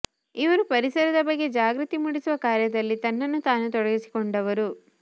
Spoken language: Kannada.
ಇವರು ಪರಿಸರದ ಬಗ್ಗೆ ಜಾಗೃತಿ ಮೂಡಿಸುವ ಕಾರ್ಯದಲ್ಲಿ ತನ್ನನ್ನು ತಾನು ತೊಡಗಿಸಿಕೊಂಡವರು